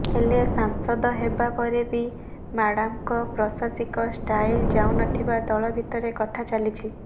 ହେଲେ ସାଂସଦ ହେବା ପରେ ବି ମାଡମଙ୍କ ପ୍ରଶାସିକା ଷ୍ଟାଇଲ ଯାଉନଥିବା ଦଳ ଭିତରେ କଥା ଚାଲିଛି